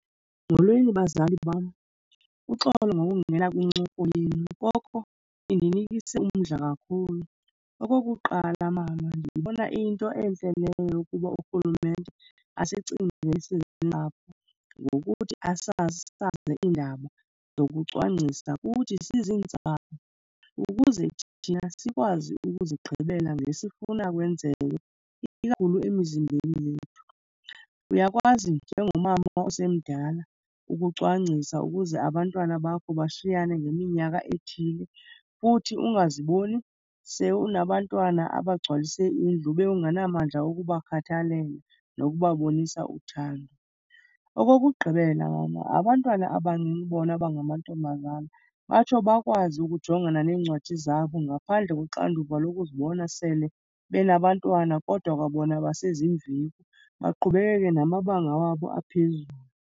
Molweni bazali bam. Uxolo ngokungena kwincoko yenu koko indinikise umdla kakhulu. Okokuqala, mama ndiyibona iyinto entle leyo yokuba urhulumente asicingele siziintsapho ngokuthi asasaze iindaba zokucwangcisa kuthi siziintsapho ukuze thina sikwazi ukuzigqibela ngesifuna kwenzeke, ikakhulu emizimbeni yethu. Uyakwazi njengomama osemdala ukucwangcisa ukuze abantwana bakho bashiyane ngeminyaka ethile futhi ungaziboni se unabantwana abagcwalise indlu ube ungenamandla wokubakhathalela nokubabonisa uthando. Okokugqibela mama, abantwana abancinci bona abangamantombazana batsho bakwazi ukujongana neencwadi zabo ngaphandle koxanduva lokuzibona sele benabantwana kodwa kwa bona baseziimveku, baqhubekeke namabanga wabo aphezulu.